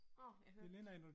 Nåh, jeg hører